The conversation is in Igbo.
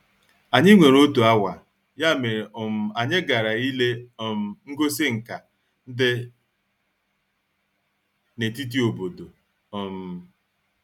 Anyị nwere otu awa, ya mere um anyị gara ile um ngosi nka dị na-etiti obodo. um